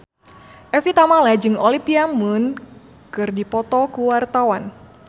Evie Tamala jeung Olivia Munn keur dipoto ku wartawan